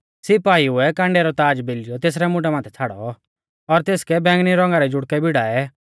सिपाइउऐ कांडेउ रौ ताज़ बेलियौ तेसरै मुंडा माथै छ़ाड़ौ और तेसकै बैंगनी रौंगा रै जुड़कै भिड़ाऐ